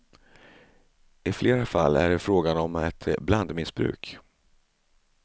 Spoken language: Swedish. I flera fall är det frågan om ett blandmissbruk.